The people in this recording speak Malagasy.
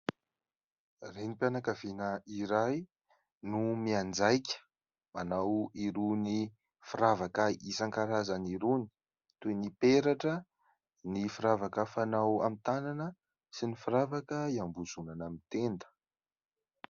Renim-pianakaviana iray no mianjaika manao irony firavaka isan-karazany irony toy ny: peratra, ny firavaka fanao amin'ny tanana sy ny firavaka hiambozonana amin'ny tenda.